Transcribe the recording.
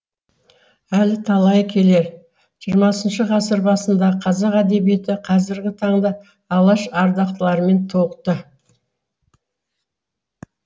әлі талайы келер жиырмасыншы ғасыр басындағы қазақ әдебиеті қазіргі таңда алаш ардақтыларымен толықты